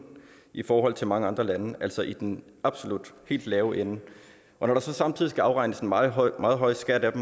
i forhold til mange andre lande altså i den absolut helt lave ende og når der så samtidig skal afregnes en meget høj meget høj skat af